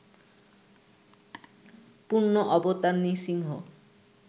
পূর্ণ অবতার নৃসিংহ